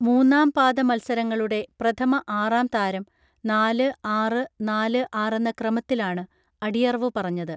മൂന്നാംപാദ മൽസരങ്ങളുടെ പ്രഥമ ആറാം താരം നാല് ആറ് നാല് ആറെന്ന ക്രമത്തിലാണ് അടിയറവു പറഞ്ഞത്